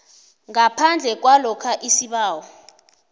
ngaphandle kwalokha isibawo